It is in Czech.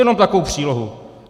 Jenom takovou přílohu.